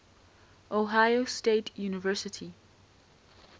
ohio state university